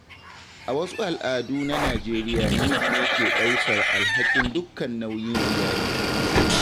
A wasu al'adu na Najeriya namiji ne ke ɗaukar alhakin dukkan nauyin iyali.